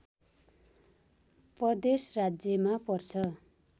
प्रदेश राज्यमा पर्छ